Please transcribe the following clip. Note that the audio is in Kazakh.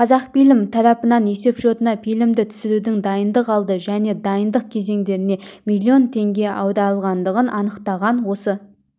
қазақфильм тарапынан есепшотына фильмді түсірудің дайындық алды және дайындық кезеңдеріне миллион теңге аударылғандығын анықтаған осы